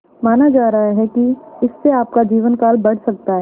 माना जा रहा है कि इससे आपका जीवनकाल बढ़ सकता है